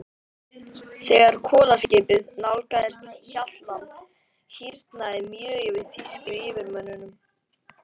Þegar kolaskipið nálgaðist Hjaltland, hýrnaði mjög yfir þýsku yfirmönnunum.